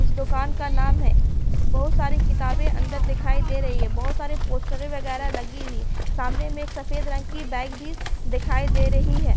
इस दुकान का नाम है। बहोत सारी किताबें अंदर दिखाई दे रही है। बहोत सारे पोस्टरें वगैरा लगी हुई है। सामने में एक सफेद रंग की बाइक भी दिखाई दे रही है।